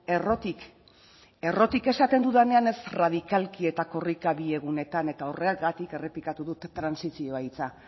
errotik errotik esaten dudanean ez radicalki eta korrika bi egunetan eta horregatik errepikatu dut trantsizio hitza